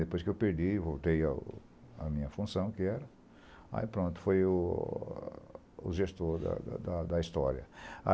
Depois que eu perdi, voltei à à minha função, que era... Aí pronto, foi o gestor da da história.